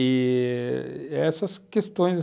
i-i essas questões